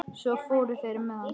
Svo fóru þeir með hann.